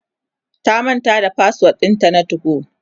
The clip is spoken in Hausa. ta manta da password ɗinta na 2go